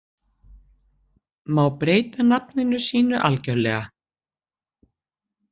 Má breyta nafninu sínu algjörlega?